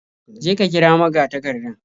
Je ka kira magatakardan.